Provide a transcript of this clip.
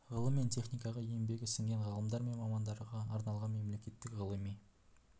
ғылым мен техникаға еңбегі сіңген ғалымдар мен мамандарға арналған мемлекеттік ғылыми